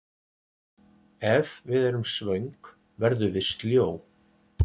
ef við erum svöng verðum við sljó